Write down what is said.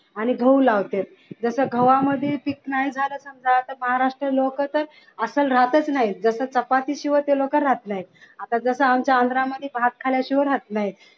गहू लावतात जस गव्हामध्ये पीक नाही झाली तर महाराष्ट्रीय लोक तर असच राहत नाहीत जस ते चपाती शिवाय लोक राहत नाहीत आता जस आमच्या आंध्रा मध्ये भात झाल्याशिवाय राहत नाहीत